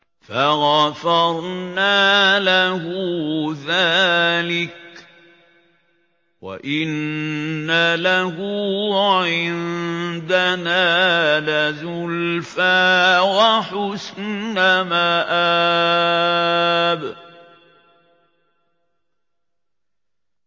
فَغَفَرْنَا لَهُ ذَٰلِكَ ۖ وَإِنَّ لَهُ عِندَنَا لَزُلْفَىٰ وَحُسْنَ مَآبٍ